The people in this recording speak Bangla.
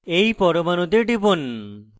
এই পরমাণুতে টিপুন